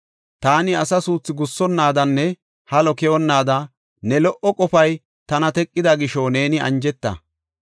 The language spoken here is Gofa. Taani asa suuthu gussonnaadanne halo keyonnaada ne lo77o qofay tana teqida gisho neeni anjeta.